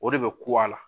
O de bɛ ko a la